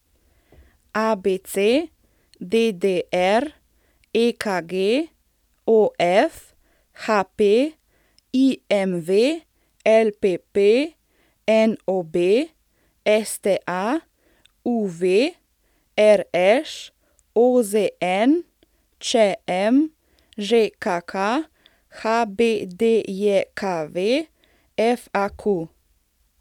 ABC, DDR, EKG, OF, HP, IMV, LPP, NOB, STA, UV, RŠ, OZN, ČM, ŽKK, HBDJKV, FAQ.